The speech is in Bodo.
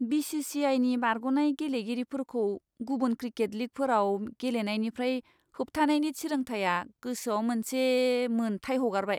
बि.सि.सि.आइ.नि बारग'नाय गेलेगिरिफोरखौ गुबुन क्रिकेट लीगफोराव गेलेनायनिफ्राय होबथानायनि थिरांथाया गोसोआव मोनसे मोनथाय हगारबाय।